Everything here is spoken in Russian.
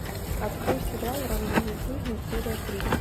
открой сериал рандеву с жизнью серия три